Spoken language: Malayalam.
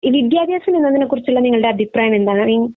ഈ വിദ്യാഭ്യാസം എന്നതിനെക്കുറിച്ചുള്ള നിങ്ങളുടെ അഭിപ്രായം എന്താണ്